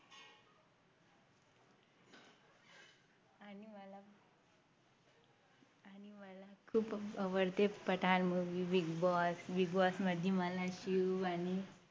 खूप आवडते Pathaan Movie Big boss Big boss मध्ये मला शिव आणि